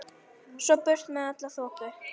Svo burt með alla þoku.